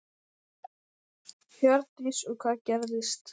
Hjördís: Og hvað gerðist?